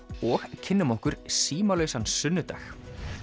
og kynnum okkur sunnudag